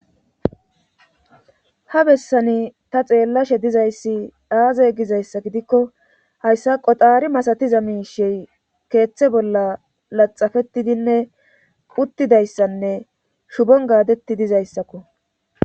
ha bessani ta xeellashe dizayssi dhaaze gizayssa gidikko hayssa qoxaari masatiza miishi keeththe bolla laxafetidinne quttidayssanne shubon gaadetti dizayssakko